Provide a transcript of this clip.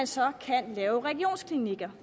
så kan laves regionsklinikker